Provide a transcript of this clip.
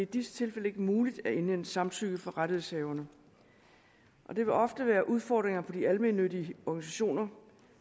disse tilfælde ikke muligt at indhente samtykke fra rettighedshaverne og det vil ofte være en udfordring for de almennyttige organisationer